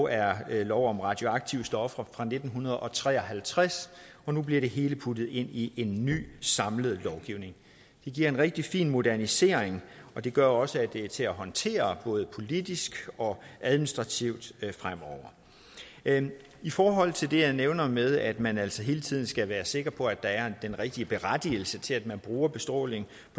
er lov om radioaktive stoffer fra nitten tre og halvtreds og nu bliver det hele puttet ind i en ny samlet lovgivning det giver en rigtig fin modernisering og det gør også at det er til at håndtere både politisk og administrativt fremover i forhold til det jeg nævnte med at man altså hele tiden skal være sikker på at der er den rigtige berettigelse til at man bruger bestråling